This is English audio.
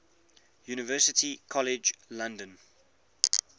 university college london